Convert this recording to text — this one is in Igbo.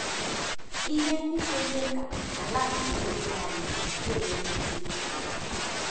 Ihe Ndị Na - eme Ka “ Ala ” nke Obi Anyị Na - emepụta Ihe